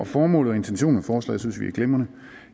formålet